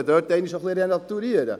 er ist voll eingelegt in Betonkanäle.